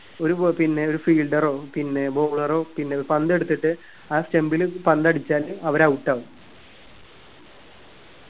ഒരു ഏർ പിന്നെ ഒരു fielder ഓ പിന്നെ bowler ഓ പിന്നെ പന്തെടുത്തിട്ട് ആ stump ൽ പന്തടിച്ചാല് അവര് out ആവും